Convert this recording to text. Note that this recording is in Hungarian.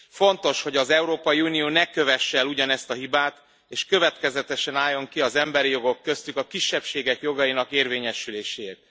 Fontos, hogy az Európai Unió ne kövesse el ugyanezt a hibát és következetesen álljon ki az emberi jogok, köztük a kisebbségek jogainak érvényesüléséért.